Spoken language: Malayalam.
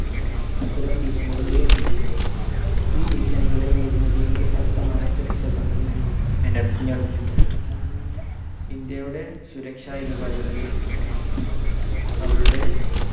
അത്തരം ഭീഷണികൾ ഉയർന്നിട്ടുണ്ട്. ഈ ഭീഷണികളെ നേരിടുന്നതിന് ഇന്ത്യ ശക്തമായ സുരക്ഷാ തന്ത്രം തന്നെ മെനഞ്ഞെടുത്തിട്ടുണ്ട്. ഇന്ത്യയുടെ സുരക്ഷ എന്ന് പറയുന്നത് അവളുടെ